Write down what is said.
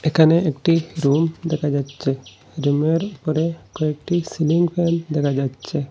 এখানে একটি রুম দেখা যাচ্ছে রুমের ওপরে কয়েকটি সিলিংফ্যান দেখা যাচ্ছে।